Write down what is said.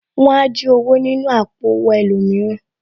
Wọn á jí owó nínú àpò owó ẹlòmíràn